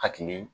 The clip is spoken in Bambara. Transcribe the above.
Hakili